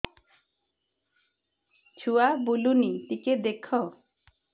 ଛୁଆ ବୁଲୁନି ଟିକେ ଦେଖ